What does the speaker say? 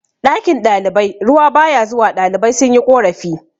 ɗakin ɗalibai ruwa ba ya zuwa ɗalibai sun yi korafi